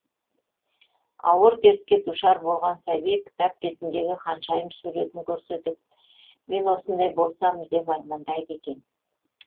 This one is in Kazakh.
ауыр дертке душар болған сәби кітап бетіндегі ханшайым суретін көрсетіп мен осындай болсам деп армандайды екен